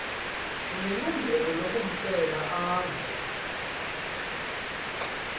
unelungelo lokucela aze